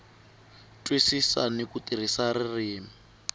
twisisa ni ku tirhisa ririmi